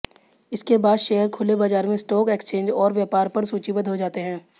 इसके बाद शेयर खुले बाजार में स्टॉक एक्सचेंज और व्यापार पर सूचीबद्ध हो जाते हैं